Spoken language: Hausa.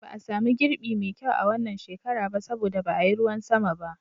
Ba a sami girbi mai kyau a wannan shekara ba saboda ba a yi ruwan sama ba.